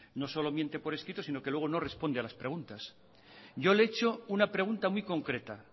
no solo que miente por escrito sino que luego no responde a las preguntas yo le he hecho una pregunta muy concreta